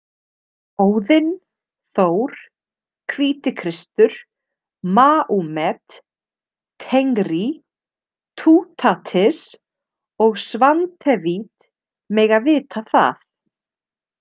Óðinn, Þór, Hvítikristur, Maúmet, Tengrí, Tútatis og Svantevít mega vita það.